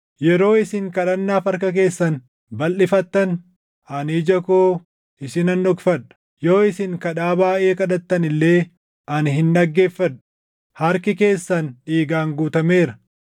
Yeroo isin kadhannaaf harka keessan balʼifattan, ani ija koo isinan dhokfadha; yoo isin kadhaa baayʼee kadhattan illee ani hin dhaggeeffadhu. Harki keessan dhiigaan guutameera!